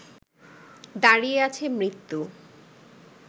দাঁড়িয়ে আছে মৃত্যু